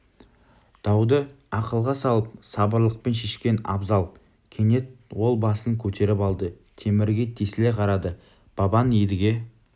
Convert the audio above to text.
дауды ақылға салып сабырлылықпен шешкен абзал кенет ол басын көтеріп алды темірге тесіле қарады бабаң едіге